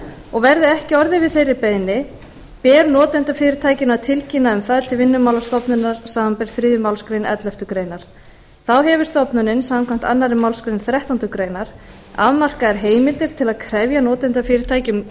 og verði ekki orðið við þeirri beiðni ber notendafyrirtækinu að tilkynna um það til vinnumálastofnunar samanber þriðju málsgrein elleftu grein þá hefur stofnunin samkvæmt annarri málsgrein þrettándu greinar afmarkaðar heimildir til að krefja notendafyrirtæki um